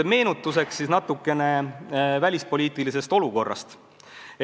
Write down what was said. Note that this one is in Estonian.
Meenutuseks natukene tolleaegsest välispoliitilisest olukorrast.